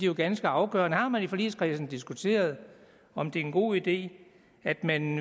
jo ganske afgørende har man i forligskredsen diskuteret om det er en god idé at man